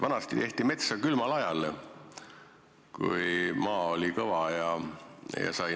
Vanasti tehti metsa külmal ajal, kui maa oli kõva.